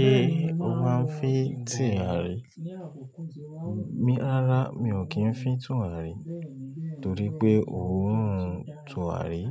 Ṣé o máa ń fín tìrì? Mi rárá mi ò kí ń fín turari torí pé òórùn turari